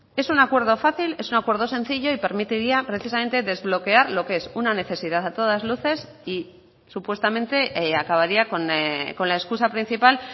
es un acuerdo fácil es un acuerdo sencillo y permitiría precisamente desbloquear lo que es una necesidad a todas luces y supuestamente acabaría con la excusa principal